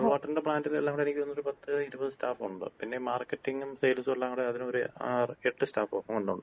Mineral വാട്ടറിന്‍റെ പ്ലാന്‍റില് എല്ലാംകൂട എനിക്ക് തോന്നുന്നു ഒര് പത്തിഇരുപത് സ്റ്റാഫൊണ്ട്. പിന്നെ മാർക്കറ്റിംഗും സെയിൽസും എല്ലാം കൂട ഒര് ആറ് അല്ലെങ്കി എട്ട് സ്റ്റാഫൊ എങ്ങാണ്ടൊണ്ട്.